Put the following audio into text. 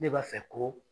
Ne b'a fɛ ko